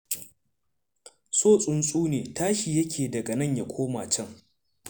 So tsuntu ne tashi yake daga nan ya koma can.